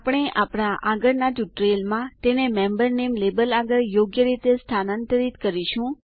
આપણે આપણા આગળના ટ્યુટોરીયલ માં તેને મેમ્બર નામે લેબલ આગળ યોગ્ય રીતે સ્થાનાંતરિત કરીશું